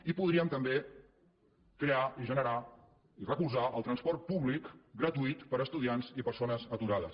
i podríem també crear i generar i recolzar el transport públic gratuït per a estudiants i persones aturades